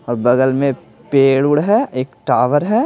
और बगल में पेड़ उड़ है एक टावर है।